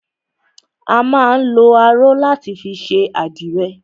A má ń lọ aró láti fi ṣe àdìrẹ